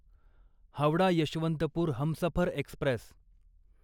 Howrah Yesvantpur Humsafar Express